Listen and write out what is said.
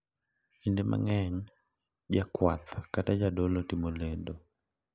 Kinde mang’eny, jakuath kata jadolo timo lendo